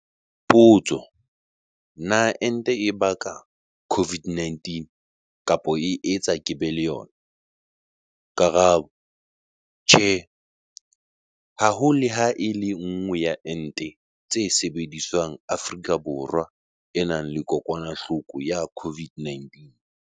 Potso- Na ente e baka COVID-19 kapa e etsa ke be le yona? Karabo- Tjhe. Ha ho le ha e le nngwe ya ente tse sebediswang Afrika Borwa e nang le kokwanahloko ya COVID-19.